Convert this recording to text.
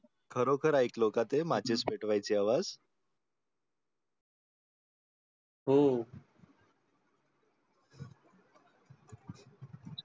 खरोखर ऐकलो का ते matches पेटवायचा आवाज? हो